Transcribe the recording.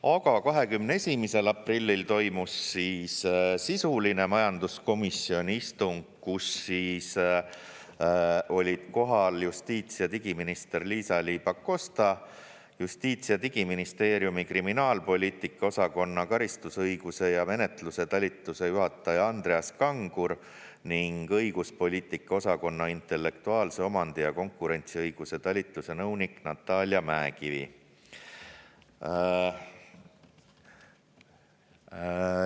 Aga 21. aprillil toimus sisuline majanduskomisjoni istung, kus olid kohal justiits- ja digiminister Liisa-Ly Pakosta, Justiits- ja Digiministeeriumi kriminaalpoliitika osakonna karistusõiguse ja menetluse talituse juhataja Andreas Kangur ning õiguspoliitika osakonna intellektuaalse omandi ja konkurentsiõiguse talituse nõunik Natalia Mäekivi.